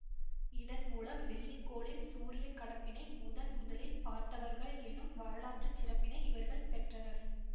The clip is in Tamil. இதன் மூலம் வெள்ளி கோளின் சூரிய கடப்பினை முதன் முதலில் பார்த்தவர்கள் எனும் வரலாற்று சிறப்பை இவர்கள் பெற்றனர்